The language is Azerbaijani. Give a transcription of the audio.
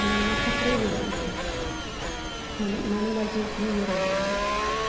Oğlumdan fəxr edirəm ki, yəni mənim vəziyyətimi yerə vurmayıb.